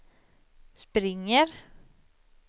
springer